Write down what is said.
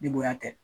Ni bonya tɛ